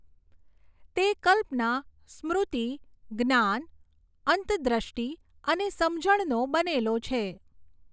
તે કલ્પના, સ્મૃતિ, જ્ઞાન, અંતદ્રષ્ટિ, અને સમજણનો બનેલો છે.